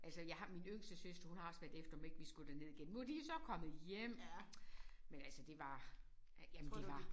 Altså jeg har min yngste søster hun har også været efter mig om vi ikke skulle derned igen nu de jo så kommet hjem men altså det var jamen det var